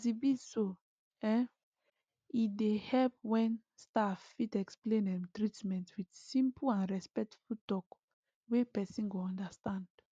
as he be so um e dey help when staff fit explain um treatment with simple and respectful talk wey person go understand